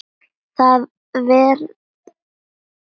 Það vefrit lesa fáir.